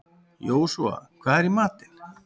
Jósúa, hvað er í matinn?